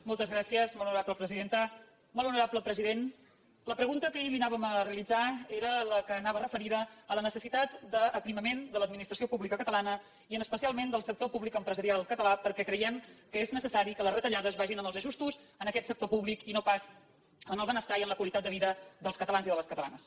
molt honorable president la pregunta que ahir li anàvem a realitzar era la que anava referida a la necessitat d’aprimament de l’administració pública catalana i especialment del sector públic empresarial català perquè creiem que és necessari que les retallades vagin en els ajustos en aquest sector i no pas en el benestar i en la qualitat de vida dels catalans i de les catalanes